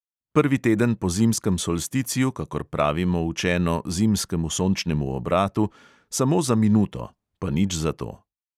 Prvi teden po zimskem solsticiju, kakor pravimo učeno zimskemu sončnemu obratu, samo za minuto, pa nič zato.